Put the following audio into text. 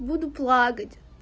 буду плакать